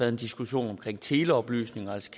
en diskussion omkring teleoplysninger altså